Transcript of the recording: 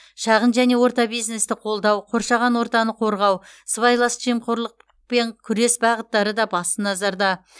шағын және орта бизнесті қолдау қоршаған ортаны қорғау сыбайлас жемқорлықпен күрес бағыттары да басты назарда